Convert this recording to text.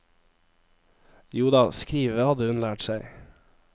Joda, skrive hadde hun lært seg.